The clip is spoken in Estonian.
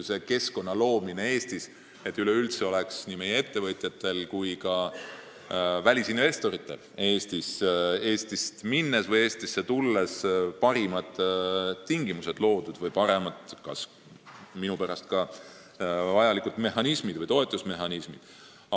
Üks asi on keskkonna loomine, et nii meie ettevõtjatele Eestist välja minnes kui ka välisinvestoritele Eestisse tulles oleks üleüldse loodud parimad tingimused või minu pärast ka vajalikud toetusmehhanismid.